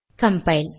compile